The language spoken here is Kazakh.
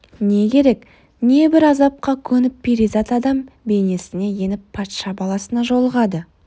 не керек небір азапқа көніп перизат адам бейнесіне еніп патша баласына жолығады